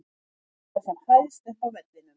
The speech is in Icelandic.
Ég vil vera sem hæst upp á vellinum.